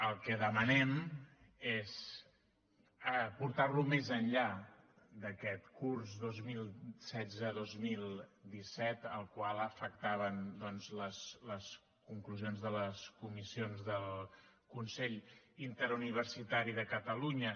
el que demanem és portar lo més enllà d’aquest curs dos mil setze dos mil disset al qual afectaven doncs les conclusions de les comissions del consell interuniversitari de catalunya